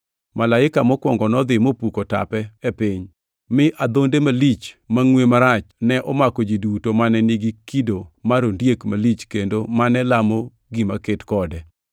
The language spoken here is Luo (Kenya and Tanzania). Malaika mokwongo nodhi mopuko tape e piny, mi adhonde malich mangʼwe marach ne omako ji duto mane nigi kido mar ondiek malich kendo mane lamo gima ket kode.